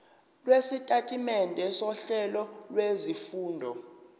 lwesitatimende sohlelo lwezifundo